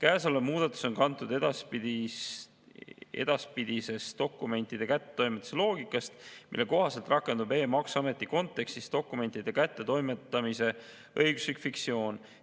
See muudatus on kantud edaspidisest dokumentide kättetoimetamise loogikast, mille kohaselt rakendub e-maksuameti kontekstis dokumentide kättetoimetamise õiguslik fiktsioon.